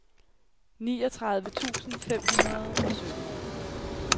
niogtredive tusind fem hundrede og sytten